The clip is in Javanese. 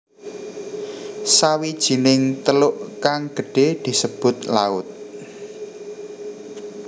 Sawijining teluk kang gedhe disebut laut